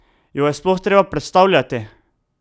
Jo je sploh treba predstavljati?